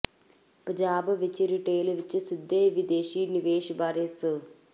ਪੰਜਾਬ ਵਿਚ ਰਿਟੇਲ ਵਿਚ ਸਿੱਧੇ ਵਿਦੇਸ਼ੀ ਨਿਵੇਸ਼ ਬਾਰੇ ਸ